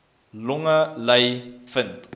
longe ly vind